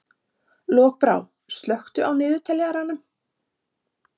Lokbrá, slökktu á niðurteljaranum.